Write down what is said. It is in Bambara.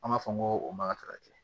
An b'a fɔ n ko o ma ta ka kɛ